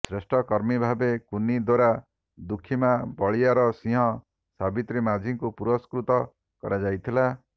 ଶ୍ରେଷ୍ଠ କର୍ମୀ ଭାବେ କୁନି ଦୋରା ଦୁଃଖୀମା ବଳିଆର ସିଂହ ସାବିତ୍ରୀ ମାଝୀ ଙ୍କୁ ପୁରସ୍କୃତ କରାଯାଇଥିଲା